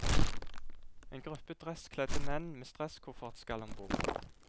En gruppe dresskledde menn med stresskoffert skal om bord.